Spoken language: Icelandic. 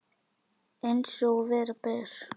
Eins og vera ber.